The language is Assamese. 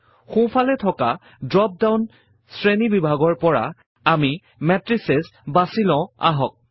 সোঁফালে থকা ড্ৰ্প ডাউন শ্ৰেণীবিভাগৰ পৰা আমি মেট্ৰিচেছ বাছি লও আহক